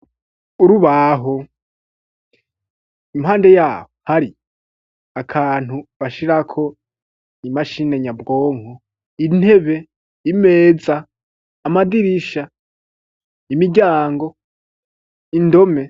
Urubaho ,impande yabo hari akantu bashirako imashini nyabwonko intebe imeza amadirisha imiryango indome.